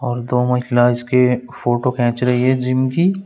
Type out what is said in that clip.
और दो महिला इसके फोटो खींच रही है जिम की।